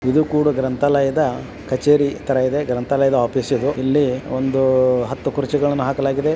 ಇದು ಕೂಡ ಗ್ರಂಥಾಲಯದ ಕಛೇರಿ ತರ ಇದೆ ಗ್ರಂಥಾಲಯ ಇಲ್ಲಿ ಒಂದು ಹತ್ತು ಕುರ್ಚಿಗಳನ್ನು ಹಾಕಲಾಗಿದೆ.